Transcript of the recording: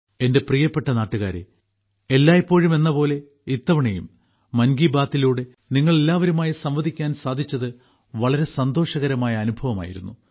എന്റെ പ്രിയപ്പെട്ട നാട്ടുകാരെ എല്ലായ്പ്പോഴും എന്നപോലെ ഇത്തവണയും മൻ കി ബാത്തിലൂടെ നിങ്ങളെല്ലാവരുമായി സംവദിക്കാൻ സാധിച്ചത് വളരെ സന്തോഷകരമായ അനുഭവമായിരുന്നു